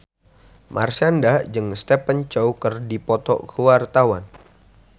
Marshanda jeung Stephen Chow keur dipoto ku wartawan